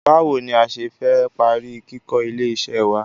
Báwo ni a ṣe fẹ́ parí kíkó ilé iṣẹ́ wá?